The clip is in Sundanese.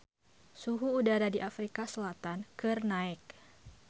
Suhu udara di Afrika Selatan keur naek